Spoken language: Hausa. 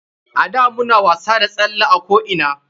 A da muna wasa da salle a ko ina.